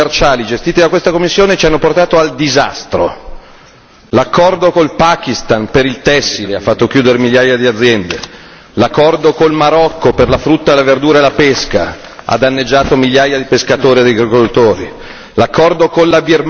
Cinque anni di politiche commerciali gestite da questa Commissione ci hanno portato al disastro. L'accordo con il Pakistan per il tessile ha fatto chiudere migliaia di aziende l'accordo con il Marocco per la frutta e la verdura e la pesca ha danneggiato migliaia di pescatori ed agricoltori